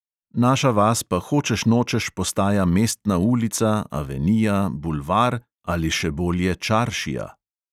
Naša vas pa hočeš nočeš postaja mestna ulica, avenija, bulvar ali še bolje čaršija.